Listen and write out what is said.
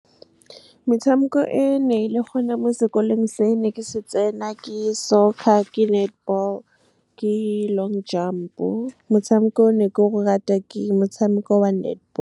Metshameko e ne e le gone mo sekolong se ne ke se tsena ke soccer, ke netball, ke long jump-o. Motshameko o ne ke o rata ke motshameko wa netball.